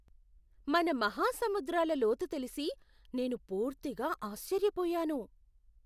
మన మహాసముద్రాల లోతు తెలిసి నేను పూర్తిగా ఆశ్చర్యపోయాను!